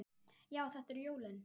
Já, þetta eru jólin!